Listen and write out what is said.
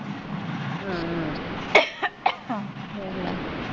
ਹਮ .